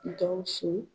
Gawusu